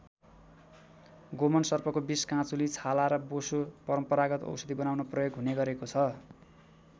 गोमन सर्पको विष काँचुली छाला र बोसो परम्परागत औषधि बनाउन प्रयोग हुने गरेको छ।